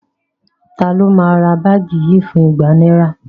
Taló máa ra báàgì yìí fún igba náírà?